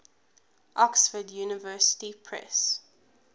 oxford university press